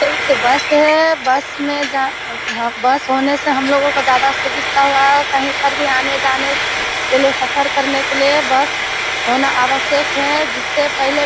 एक बस है बस में जान बस होने से हम लोग को ज्यादा सुविस्ता हुआ है। कहीं पर भी आने-जाने के लिए सफर करने के लिए बस होना आवश्यक है जिससे पहले --